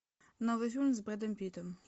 новый фильм с брэдом питтом